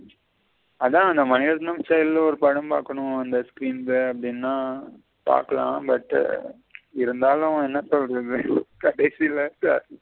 அத அந்த மணிரத்தினம் style ல ஒரு படம் பாக்கணும் அந்த screen ல அப்பிடின பாக்கலாம் but இருந்தாலும் என்ன சொல்லுறது கடைசில இருந்து .